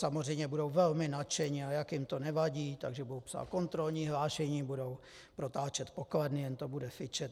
Samozřejmě budou velmi nadšení, a jak jim to nevadí, takže budou psát kontrolní hlášení, budou protáčet pokladny, jen to bude fičet.